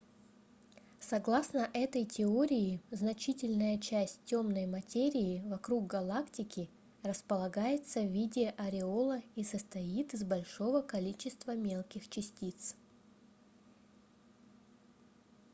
согласно этой теории значительная часть темной материи вокруг галактики располагается в виде ореола и состоит из большого количества мелких частиц